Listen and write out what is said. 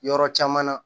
Yɔrɔ caman na